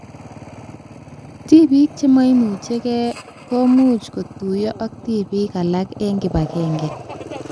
Tibik chemaimuchike komoch kotuyo ak tibik alak eng kibagenge